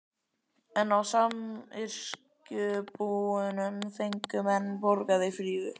En á samyrkjubúunum fengu menn borgað í fríðu.